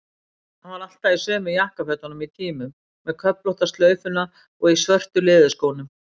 Hann var ávallt í sömu jakkafötunum í tímum, með köflóttu slaufuna og í svörtu leðurskónum.